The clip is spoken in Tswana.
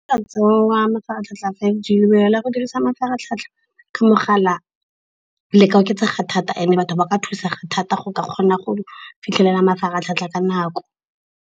mafaratlhatlha a five G, go dirisa mafaratlhatlha ka mogala le ka oketsega thata. And-e batho ba ka thusega thata go ka kgona go fitlhelela mafaratlhatlha ka nako.